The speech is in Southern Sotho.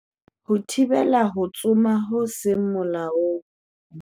Ho thibela ho tsoma ho seng molaong